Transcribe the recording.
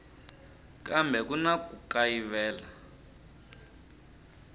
kambe ku na ku kayivela